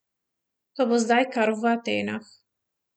Ta bo zdaj kar v Atenah.